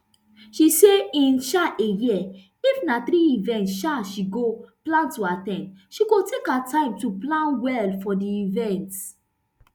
she say in um a year if na three events um she go plan to at ten d she go take her time to plan well for di event